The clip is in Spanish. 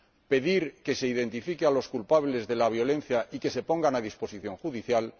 pedir que se identifique a los culpables de la violencia y que se pongan a disposición judicial